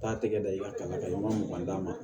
Taa tɛgɛ da i ka kalankan man mugan d'a ma